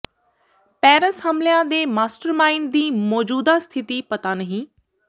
Paris ਹਮਲਿਆਂ ਦੇ mastermind ਦੀ ਮੌਜੂਦਾ ਸਥਿਤੀ ਪਤਾ ਨਹੀਂ